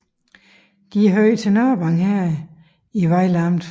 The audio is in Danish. Det hørte til Nørvang Herred i Vejle Amt